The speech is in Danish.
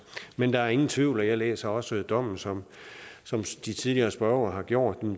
men der er ingen tvivl og jeg læser også dommen som de tidligere spørgere har gjort